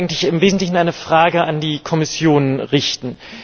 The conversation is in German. Ich möchte eigentlich im Wesentlichen eine Frage an die Kommission richten.